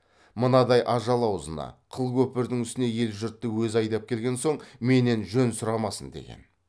мынадай ажал аузына қыл көпірдің үстіне ел жұртты өзі айдап келген соң менен жөн сұрамасын деген